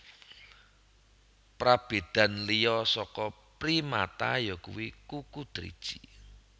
Prabédan liya saka primata yakuwi kuku driji